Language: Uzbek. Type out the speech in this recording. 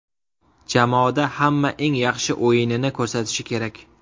Jamoada hamma eng yaxshi o‘yinini ko‘rsatishi kerak.